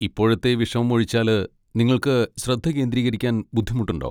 ഇപ്പോഴത്തെ വിഷമമൊഴിച്ചാല് നിങ്ങൾക്ക് ശ്രദ്ധ കേന്ദ്രീകരിക്കാൻ ബുദ്ധിമുട്ടുണ്ടോ?